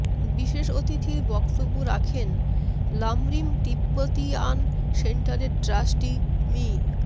বিশেষ অতিথির বক্তব্য রাখেন লামরিম তিব্বতিয়ান সেন্টারের ট্রাস্টি মি